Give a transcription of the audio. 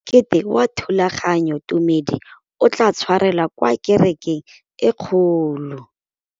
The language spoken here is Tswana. Mokete wa thulaganyôtumêdi o tla tshwarelwa kwa kerekeng e kgolo.